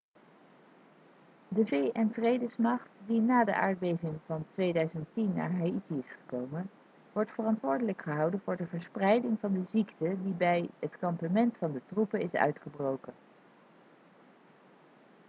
de vn-vredesmacht die na de aardbeving van 2010 naar haïti is gekomen wordt verantwoordelijk gehouden voor de verspreiding van de ziekte die bij het kampement van de troepen is uitgebroken